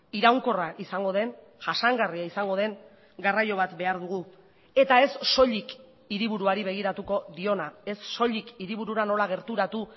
iraunkorra izango den jasangarria izango den garraio bat behar dugu eta ez soilik hiriburuari begiratuko diona ez soilik hiriburura nola gerturatu